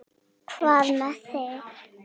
Hvað með þig?